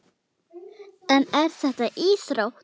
En er þetta íþrótt?